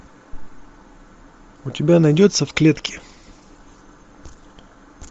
у тебя найдется в клетке